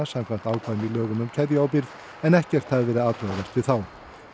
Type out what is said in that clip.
samkvæmt ákvæðum í lögum um keðjuábyrgð en ekkert hafi verið athugavert við þá